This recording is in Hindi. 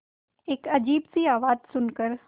एक अजीब सी आवाज़ सुन कर